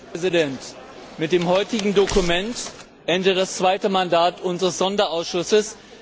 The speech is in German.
Herr Präsident! Mit dem heutigen Dokument endet das zweite Mandat unseres Sonderausschusses.